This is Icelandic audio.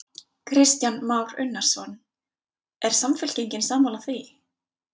Kristján Már Unnarsson: Er Samfylkingin sammála því?